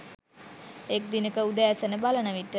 එක් දිනෙක උදෑසන බලන විට